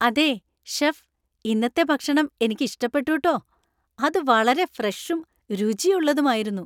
അതെ, ഷെഫ്, ഇന്നത്തെ ഭക്ഷണം എനിക്ക് ഇഷ്ടപ്പെട്ടു ട്ടോ . അത് വളരെ ഫ്രഷും രുചിയുള്ളതും ആയിരുന്നു.